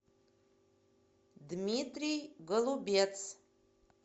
дмитрий голубец